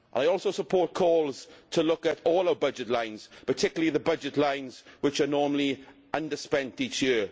I also support calls to look at all our budget lines, particularly the budget lines which are normally under spent each year.